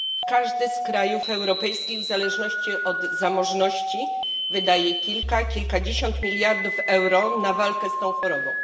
Każdy z krajów europejskich w zależności od zamożności wydaje kilka, kilkadziesiąt miliardów euro na walkę z tą chorobą.